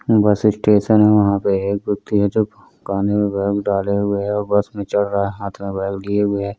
बस स्टेशन है। वहां पे एक है जो कानों में डाले हुए है जो बस में चढ़ रहा है। हाथ में बैग लिए हुए है।